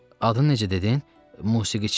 Adını necə dedin, musiqiçi?